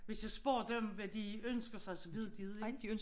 Hvis jeg spørger dem hvad de ønsker sig så ved de det jo ikke